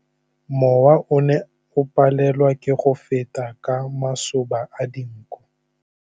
Mowa o ne o palelwa ke go feta ka masoba a dinko.